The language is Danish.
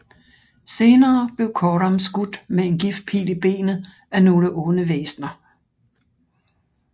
Senere blev Coram skudt med en giftpil i benet af nogle onde væsner